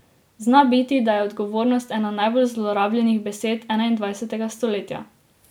Zna biti, da je odgovornost ena najbolj zlorabljenih besed enaindvajsetega stoletja.